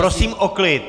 Prosím o klid!